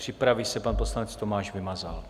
Připraví se pan poslanec Tomáš Vymazal.